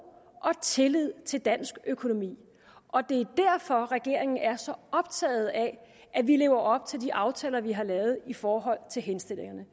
og tillid til dansk økonomi og det er derfor regeringen er så optaget af at vi lever op til de aftaler vi har lavet i forhold til henstillingerne